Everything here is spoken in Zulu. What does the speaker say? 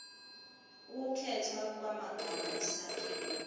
ukukhethwa kwamagama isakhiwo